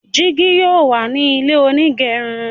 jìgì yóò wá ní ilé onigerun